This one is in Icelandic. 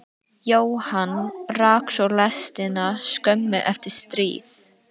Jóhann rak svo lestina skömmu eftir stríð.